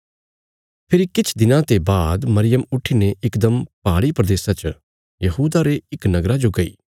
फेरी किछ दिनां ते बाद मरियम त्यार हुईने यहूदा प्रदेशा रे पहाड़ी इलाके च इक नगरा जो गई